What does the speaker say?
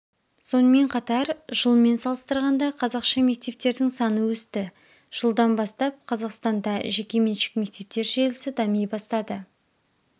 сонымен қатар жылмен салыстырғанда қазақша мектептердің саны өсті жылдан бастап қазақстанда жекеменшік мектептер желісі дами бастады